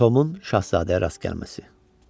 Tomun şahzadəyə rast gəlməsi.